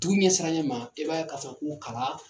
Dugu ɲɛsiranɲɛ ma i b'a ye ka fɔ ko kalan.